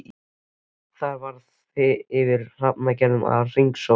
Þar yfir var hrafnager að hringsóla.